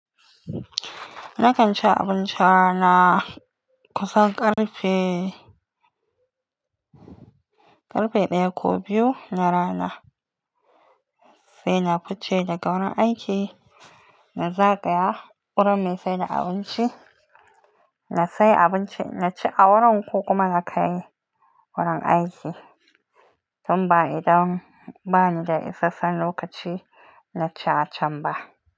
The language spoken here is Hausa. Nakan ci abinci rana kusan ƙarfe, ƙarfe ɗaya ko biyu na rana sai na fice daga wurin aiki. Na zagaya wurin mai saida abinci na sayi abinci na ci a wurin ko kuma na kai wurin aiki. Tun ba idan bani da isasshen lokaci na ci acan ba.